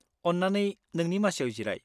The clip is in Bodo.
अन्नानै नोंनि मासियाव जिराय।